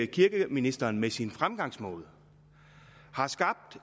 kirkeministeren med sin fremgangsmåde har skabt